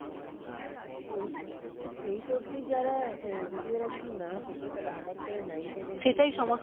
eight eight অবধি যারা যদি এরা কিছু না শেখে তাহলে হঠাৎ করে nine ten নে গিয়ে